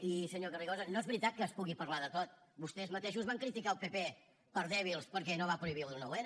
i senyor carrizosa no és veritat que es pugui parlar de tot vostès mateixos van criticar el pp per dèbils perquè no van prohibir el nou n